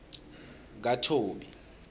kathobi